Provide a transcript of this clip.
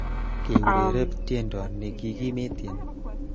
Keurereb tiendo nekikimetein